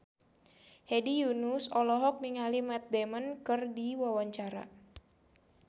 Hedi Yunus olohok ningali Matt Damon keur diwawancara